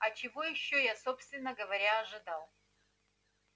а чего ещё я собственно говоря ожидал